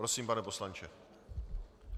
Prosím, pane poslanče.